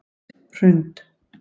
Hrund